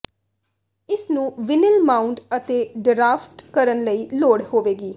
ਇਸ ਨੂੰ vinyl mount ਅਤੇ ਡਰਾਫਟ ਕਰਨ ਲਈ ਲੋੜ ਹੋਵੇਗੀ